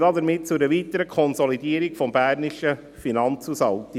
Er führt damit zu einer weiteren Konsolidierung des bernischen Finanzhaushalts.